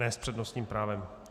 Ne s přednostním právem.